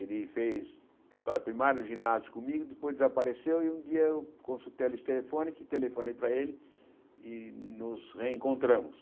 Ele fez a escola primária e o ginásio comigo, depois desapareceu e um dia eu consultei a lista telefônica, que telefonei para ele e nos reencontramos.